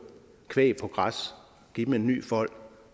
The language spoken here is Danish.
kvæg ud på græs og give dem en ny fold